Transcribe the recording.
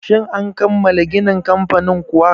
Shin an kammala ginin kamfanin kuwa?